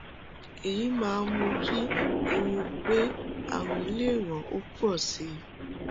èyí máa ń mú kí ewu pé ààrùn lè ràn ọ pọ sí i